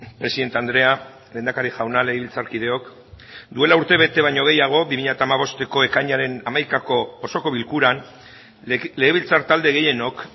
presidente andrea lehendakari jauna legebiltzarkideok duela urtebete baino gehiago bi mila hamabosteko ekainaren hamaikako osoko bilkuran legebiltzar talde gehienok